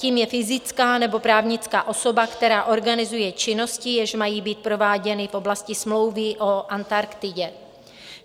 Tím je fyzická nebo právnická osoba, která organizuje činnosti, jež mají být prováděny v oblasti Smlouvy o Antarktidě.